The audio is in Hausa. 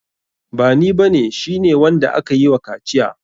Bani ba ne, shi ne wanda akayi wa kaciya.